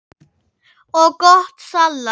og gott salat.